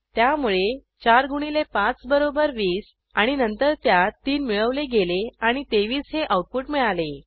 त्यामुळे चार गुणिले पाच बरोबर 20 आणि नंतर त्यात तीन मिळवले गेले आणि 23 हे आऊटपुट मिळाले